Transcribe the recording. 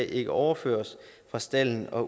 ikke overføres fra stalden og